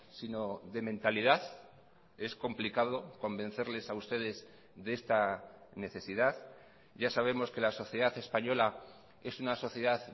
sino de mentalidad es complicado convencerles a ustedes de esta necesidad ya sabemos que la sociedad española es una sociedad